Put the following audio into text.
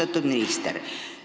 Austatud minister!